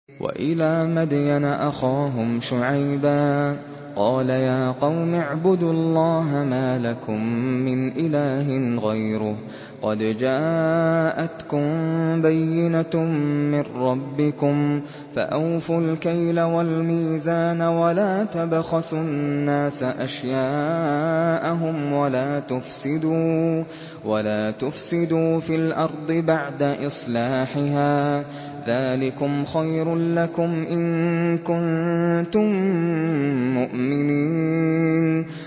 وَإِلَىٰ مَدْيَنَ أَخَاهُمْ شُعَيْبًا ۗ قَالَ يَا قَوْمِ اعْبُدُوا اللَّهَ مَا لَكُم مِّنْ إِلَٰهٍ غَيْرُهُ ۖ قَدْ جَاءَتْكُم بَيِّنَةٌ مِّن رَّبِّكُمْ ۖ فَأَوْفُوا الْكَيْلَ وَالْمِيزَانَ وَلَا تَبْخَسُوا النَّاسَ أَشْيَاءَهُمْ وَلَا تُفْسِدُوا فِي الْأَرْضِ بَعْدَ إِصْلَاحِهَا ۚ ذَٰلِكُمْ خَيْرٌ لَّكُمْ إِن كُنتُم مُّؤْمِنِينَ